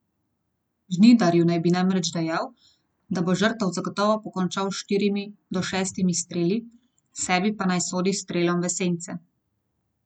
Žnidarju naj bi namreč dejal, da bo žrtev zagotovo pokončal s štirimi do šestimi streli, sebi pa naj sodi s strelom v sence.